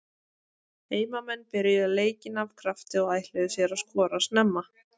Heimamenn byrjuðu leikinn af krafti og ætluðu sér að skora snemma.